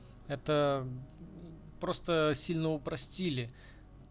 это просто сильно упростили